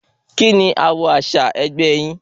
Kíni àwò àsìá ẹgbẹ́ yín?